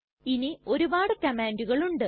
ഇനി ഒരുപാട് കംമാണ്ടുകൾ ഉണ്ട്